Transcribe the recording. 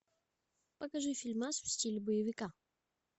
покажи фильмас в стиле боевика